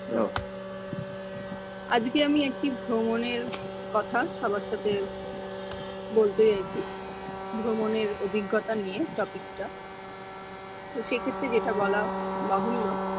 আজকে আমি একটি ভ্রমনের কথা সবার সাথে বলতে যাইচ্ছি ভ্রমনের অভিজ্ঞতা নিয়ে topic টা সে ক্ষেত্রে যেটা বলা বাহুল্য